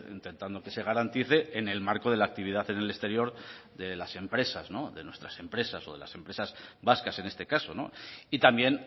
intentando que se garantice en el marco de la actividad en el exterior de las empresas de nuestras empresas o de las empresas vascas en este caso y también